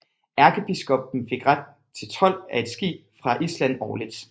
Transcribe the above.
Erkebiskoppen fik ret til told af et skib fra Island årligt